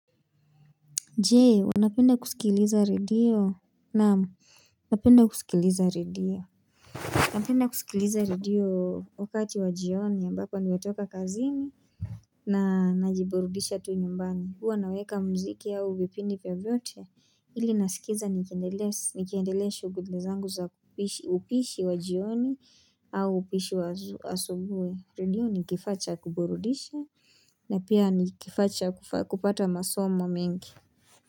Jee unapenda kusikiliza redio Naam napenda kusikiliza redio napenda kusikiliza redio wakati wa jioni ambapo nimetoka kazini na najiburudisha tu nyumbani huwa naweka mziki au vipindi vyovyote Jee unapenda kusikiliza redio naam napenda kusikiliza redio napenda kusikiliza redio wakati wa jioni ambapo nimetoka kazini na najiburudisha tu nyumbani huwa naweka mziki au vipindi vyovyote.